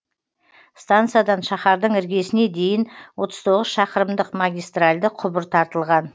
станциядан шаһардың іргесіне дейін отыз тоғыз шақырымдық магистральді құбыр тартылған